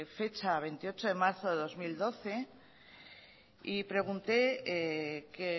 fecha de veintiocho de marzo de dos mil doce y pregunté que